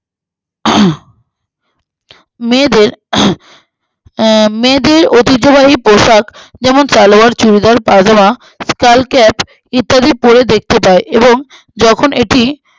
আহ মেয়েদের আহ আ মেয়েদের অতিব্যবহৃত পোশাক যেমন সালোয়ার চুড়িদার পাজামা সালক্যাপ ইত্যাদি পড়ে দেখতে পায়ে এবং যখন এটি